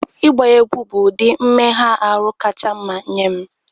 Ịgba egwu bụ ụdị mmega ahụ kacha mma nye m